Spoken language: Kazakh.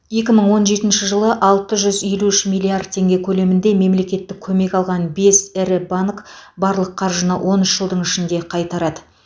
екі мың он жетінші жылы алты жүз елу үш миллиард теңге көлемінде мемлекеттік көмек алған бес ірі банк барлық қаржыны он үш жылдың ішінде қайтарады